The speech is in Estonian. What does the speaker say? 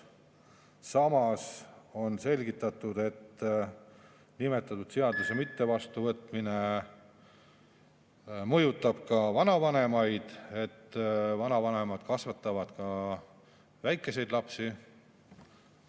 Samas on selgitatud, et nimetatud seaduse mittevastuvõtmine mõjutab ka vanavanemaid, sest vanavanemad kasvatavad ka väikeseid lapsi.